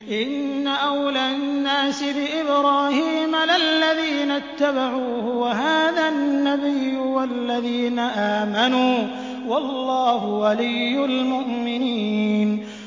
إِنَّ أَوْلَى النَّاسِ بِإِبْرَاهِيمَ لَلَّذِينَ اتَّبَعُوهُ وَهَٰذَا النَّبِيُّ وَالَّذِينَ آمَنُوا ۗ وَاللَّهُ وَلِيُّ الْمُؤْمِنِينَ